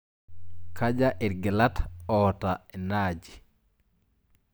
Kaja irgilat oota ina aji?